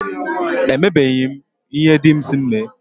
E mebeghi m ihe dị m si m mee.